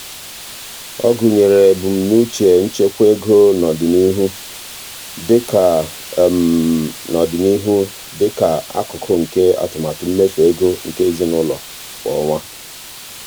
ọ gụnyere ebumnuche nchekwa ego n'ọdịnihu dị ka n'ọdịnihu dị ka akụkụ nke atụmatụ mmefu ego nke ezinụụlọ kwa ọnwa.